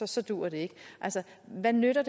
så duer det ikke altså hvad nytter